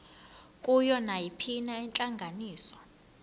kuyo nayiphina intlanganiso